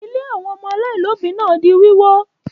Ilé àwọn ọmọ aláìlóòbí náà di wíwó?